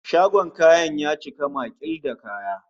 Shagon kayan ya cika maƙil da kaya